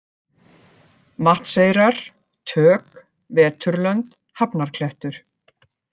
Vatnseyrar, Tök, Veturlönd, Hafnarklettur